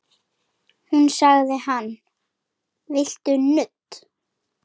Þá sagði hann: Viltu nudd?